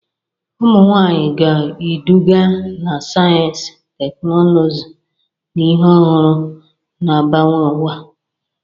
Ụmụ nwanyị ga-eduga na sayensị, teknụzụ, na ihe ọhụrụ, na-agbanwe ụwa.